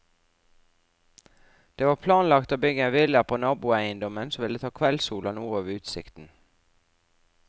Det var planlagt å bygge en villa på naboeiendommen som ville ta kveldssol og noe av utsikten.